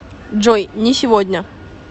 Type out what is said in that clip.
джой не сегодня